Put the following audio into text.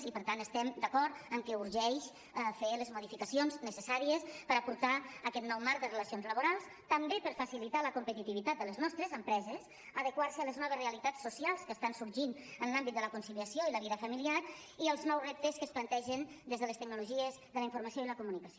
i per tant estem d’acord en que urgeix fer les modificacions necessàries per aportar aquest nou marc de relacions laborals també per facilitar la competitivitat de les nostres empreses adequar se a les noves realitats socials que estan sorgint en l’àmbit de la conciliació i la vida familiar i als nous reptes que es plantegen des de les tecnologies de la informació i la comunicació